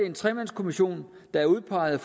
en tremandskommission der er udpeget